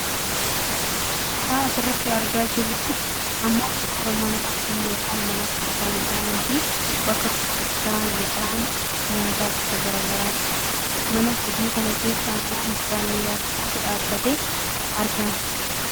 Suuraan asirratti argaa jiru kun ammoo suuraa mana hojii yookaan mana kuusaa midhaaniifi bakka gurgurtaa midhaan nyaataa gosa gara garaati. Mana hojii kana keessa ammoo mucaa dhiiraa tokkotu dhaabbatee argama.